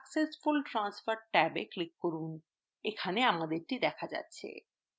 successful transfer ট্যাবে click করুন এখানে আমাদেরটি দেখা যাচ্ছে